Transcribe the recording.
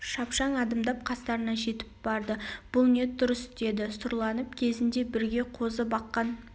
шапшаң адымдап қастарына жетіп барды бұ не тұрыс деді сұрланып кезінде бірге қозы баққан